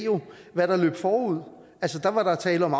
hvad der løb forud da var der tale om